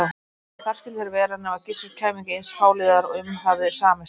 Og þar skyldu þeir vera nema Gissur kæmi ekki eins fáliðaður og um hafði samist.